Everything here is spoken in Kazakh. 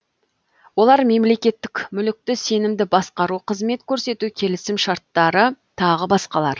олар мемлекеттік мүлікті сенімді басқару қызмет көрсету келісімшарттары тағы басқалар